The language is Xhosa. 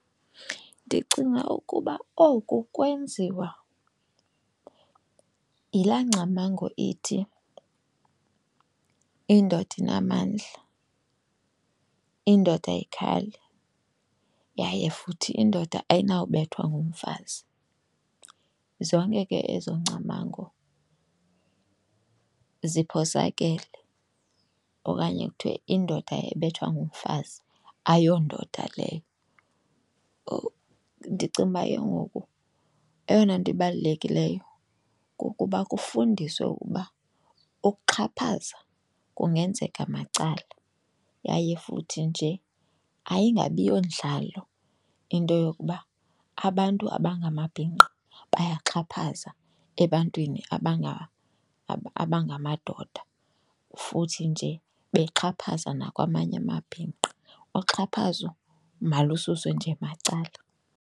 Ndicinga ukuba oku kwenziwa yilaa ngcamango ithi indoda inamandla, indoda ayikhali yaye futhi indoda ayinawubethwa ngumfazi. Zonke ke ezo ngcamango ziphosakele. Okanye kuthiwe indoda ebethwa ngumfazi ayondoda leyo. Ndicinga uba ke ngoku eyona nto ibalulekileyo kukuba kufundiswe ukuba ukuxhaphaza kungenzeka macala yaye futhi nje ayingabi yondlalo into yokuba abantu abangamabhinqa bayaxhaphaza ebantwini abangamadoda futhi nje bexhaphaza nakwamanye amabhinqa. Uxhaphazo malususwe nje macala.